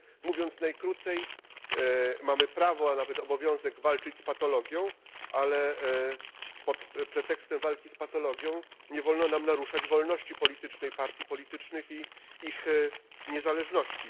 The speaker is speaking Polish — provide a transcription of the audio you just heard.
Mówiąc najkrócej, mamy prawo, a nawet obowiązek walczyć z patologią, ale pod pretekstem walki z patologią nie wolno nam naruszać wolności politycznej partii politycznych i ich niezależności.